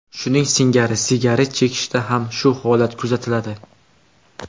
Shuning singari, sigaret chekishda ham shu holat kuzatiladi.